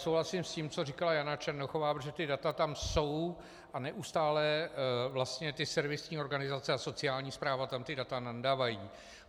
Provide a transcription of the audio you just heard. Souhlasím s tím, co říkala Jana Černochová, protože ta data tam jsou a neustále vlastně ty servisní organizace a sociální správa tam ta data nandavají.